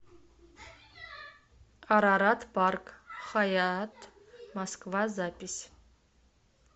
арарат парк хаятт москва запись